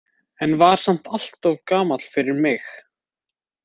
En var samt alltof gamall fyrir mig.